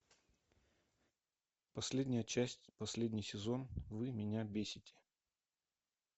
последняя часть последний сезон вы меня бесите